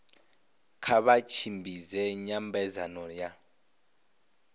kha vha tshimbidze nyambedzano ya